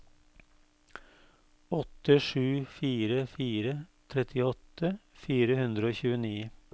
åtte sju fire fire trettiåtte fire hundre og tjueni